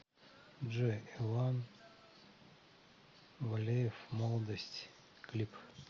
джой иван валеев молодость клип